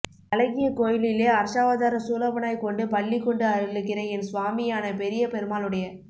அழகிய கோயிலிலே அர்ச்சாவதார ஸூ லபனாய்க் கொண்டு பள்ளி கொண்டு அருளுகிற என் ஸ்வாமி யான பெரிய பெருமாளுடைய